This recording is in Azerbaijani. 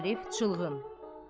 Arif çılğın.